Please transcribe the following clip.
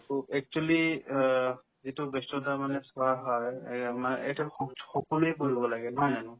to actually অ এইটো ব্যস্ততা মানে চোৱা হয় এয়ে মানে এইটোৰ সংচ~ সকলোয়ে কৰিব লাগে নহয় জানো